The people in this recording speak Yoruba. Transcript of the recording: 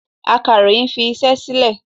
Akàròyìn fi iṣẹ́ sílè.